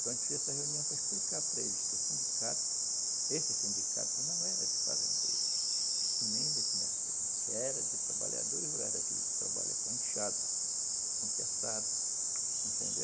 Então a gente fez essa reunião para explicar para eles que o sindicato, esse sindicato não era de fazendeiros e nem de comerciantes, era de trabalhadores rurais, daqueles que trabalham com enxada, com terçado, entendeu?